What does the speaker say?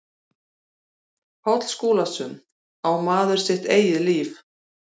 Páll Skúlason, Á maður sitt eigið líf?